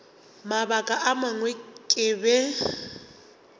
mabaka a mangwe ke be